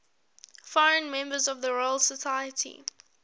foreign members of the royal society